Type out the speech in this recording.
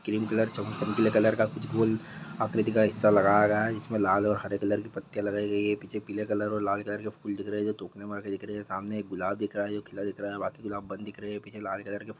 cream colour चम चमकीले colour का कुछ गोल आकृति का हिस्सा लगाया गया है इसमे लाल और हरे कलर की पत्तियां लगाई गई है पीछे पीले कलर और लाल कलर के फूल दिख रहे है जो टोकने में रखें दिख रहे है सामने एक गुलाब दिख रहा है जो खिला दिख रहा है बाकी गुलाब बंद दिख रहे है पीछे लाल कलर के--